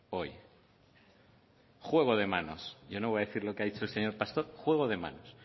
hoy juego de manos yo no voy a decir lo que ha dicho el señor pastor juego de manos